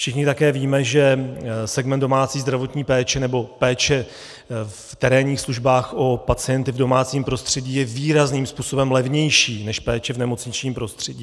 Všichni také víme, že segment domácí zdravotní péče, nebo péče v terénních službách, o pacienty v domácím prostředí je výrazným způsobem levnější než péče v nemocničním prostředí.